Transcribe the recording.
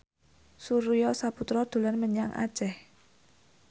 Surya Saputra dolan menyang Aceh